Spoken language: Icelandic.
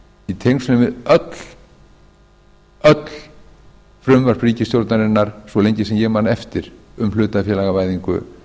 í tengslum við öll frumvörp ríkisstjórnarinnar svo lengi sem ég man eftir um hlutafélagavæðingu